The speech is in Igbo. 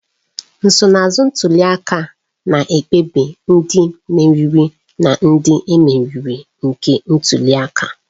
Nsonaazụ ntuli aka na-ekpebi ndị mmeri na ndị e meriri nke ntuli aka